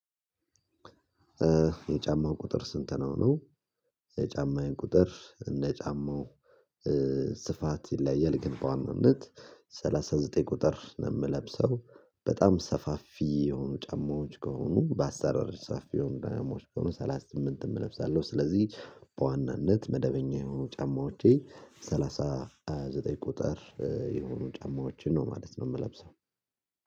የጫማው ቁጥር ስንት ነው ነው? የጫማዬ ቁጥር እንደ ጫማው። ስፋት ይለያያል ግን በዋናነት ሰላሳ ዘጠኝ ቁጥር ነው የምለብሰው። በጣም ሰፋፊ የሆኑ ጨማዎች ከሆኑ በአስራር ሰፋፊ የሆኑ ደህና ሞች ከሆኑ ሰላሳ ስምንትም እለብሳለሁ። ስለዚህ በዋናነት መደበኛ የሆኑ ጫማዎቼ ሰላሳ ዘጠኝ ቁጥር የሆኑ ጫማዎችን ነው ማለት ነው የምለብሰው